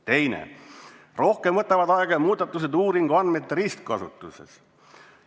" Teine: rohkem võtavad aega muudatused uuringuandmete ristkasutuses.